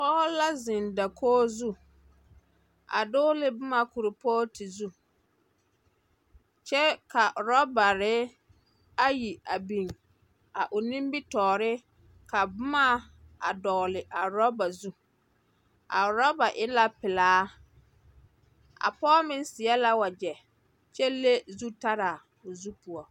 Pͻge la zeŋ dakogi zu, a dͻgele boma kuripootu zu kyԑ ka oorͻbare ayi a biŋ a o nimbitͻͻre ka boma a dͻgele a oorͻbare zu. A orͻba e la pelaa, a pͻe meŋ seԑ la wagyԑ kyԑ le zutaraa o zu poͻ.